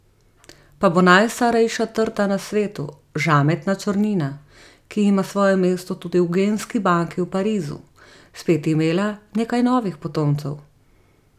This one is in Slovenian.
Pa bo najstarejša trta na svetu, žametna črnina, ki ima svoje mesto tudi v genski banki v Parizu, spet imela nekaj novih potomcev.